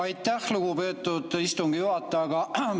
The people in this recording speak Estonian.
Aitäh, lugupeetud istungi juhataja!